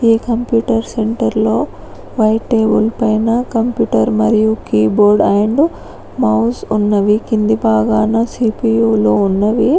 ఈ కంప్యూటర్ సెంటర్లో white table పైన కంప్యూటర్ మరియు కీబోర్డ్ అండ్ మౌస్ ఉన్నవి కింది భాగాన సి_పి_యూలో ఉన్నవి.